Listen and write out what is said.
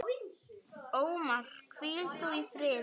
Ómar, hvíl þú í friði.